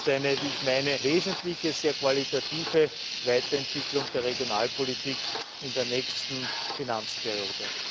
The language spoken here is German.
Das ist eine sehr wesentliche, sehr qualitative Weiterentwicklung der Regionalpolitik in der nächsten Finanzperiode.